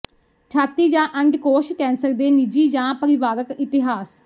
ਛਾਤੀ ਜਾਂ ਅੰਡਕੋਸ਼ ਕੈਂਸਰ ਦੇ ਨਿੱਜੀ ਜਾਂ ਪਰਿਵਾਰਕ ਇਤਿਹਾਸ